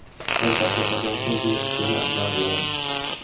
Bir daqiqadan so‘ng go‘sht yana ag‘dariladi.